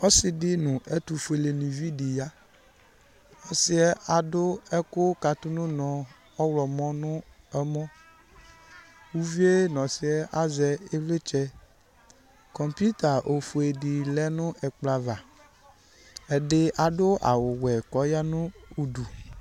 Ɔsɩ dɩ nʋ ɛtʋfuelenɩvi dɩ ya Ɔsɩ adʋ ɛkʋ katʋ nʋ ʋnɔ ɔɣlɔmɔ nʋ ɛmɔ Uvi yɛ nʋ ɔsɩ azɛ ɩvlɩtsɛ Kɔmpuita ofue dɩ lɛ nʋ ɛkplɔ ava Ɛdɩ adʋ awʋwɛ kʋ ɔya nʋ udu